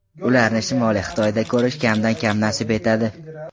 Ularni Shimoliy Xitoyda ko‘rish kamdan-kam nasib etadi.